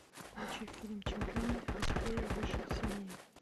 включи фильм чемпионы быстрее выше сильнее